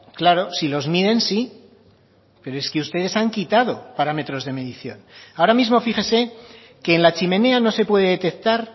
claro si los miden sí pero es que ustedes han quitado parámetros de medición ahora mismo fíjese que en la chimenea no se puede detectar